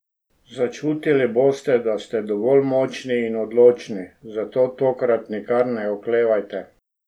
Začutili boste, da ste dovolj močni in odločni, zato tokrat nikar ne oklevajte.